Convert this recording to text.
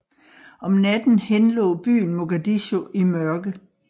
Om natten henlå byen Mogadishu i mørke